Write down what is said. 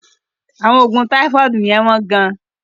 Àwọn oògùn táífọ́ọ̀dù yẹ́n wọ́n gán.